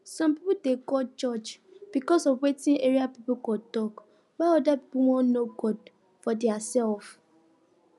some pipo dey go church because of wetin area pipo go talk while other pipo wan know god for theirself